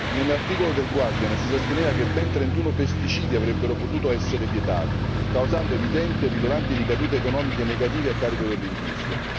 Nell'articolo del Guardian si sosteneva che ben trentuno pesticidi avrebbero potuto essere vietati, causando evidenti e rilevanti ricadute economiche negative a carico dell'industria.